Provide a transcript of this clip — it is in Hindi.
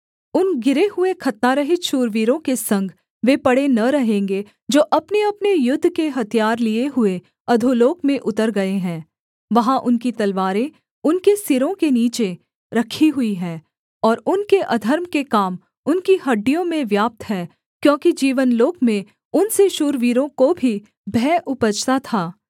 उन गिरे हुए खतनारहित शूरवीरों के संग वे पड़े न रहेंगे जो अपनेअपने युद्ध के हथियार लिए हुए अधोलोक में उतर गए हैं वहाँ उनकी तलवारें उनके सिरों के नीचे रखी हुई हैं और उनके अधर्म के काम उनकी हड्डियों में व्याप्त हैं क्योंकि जीवनलोक में उनसे शूरवीरों को भी भय उपजता था